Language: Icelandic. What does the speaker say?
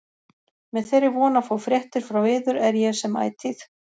Með þeirri von að fá fréttir frá yður er ég sem ætíð